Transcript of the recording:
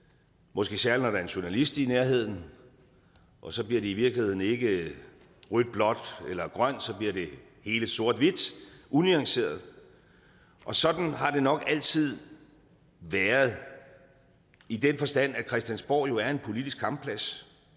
måske særlig når der er en journalist i nærheden og så bliver det i virkeligheden ikke rødt blåt eller grønt så bliver det hele sort hvidt unuanceret og sådan har det nok altid været i den forstand at christiansborg jo er en politisk kampplads